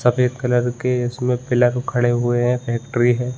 सफ़ेद कलर के उसमे पिलर खड़े हुए है फैक्ट्री है।